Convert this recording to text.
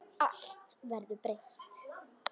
Allt verður breytt.